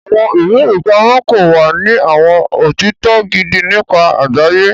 Awọn iwe-ipamọ kọ wa ní awọn otitọ gidi nípa àgbáyé.